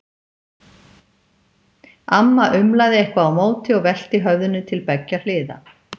Amma umlaði eitthvað á móti og velti höfðinu til beggja hliða.